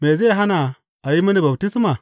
Me zai hana a yi mini baftisma?